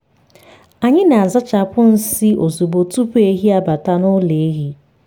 anyị na-azachapụ nsị ozugbo tupu ehi abata n’ụlọ ehi.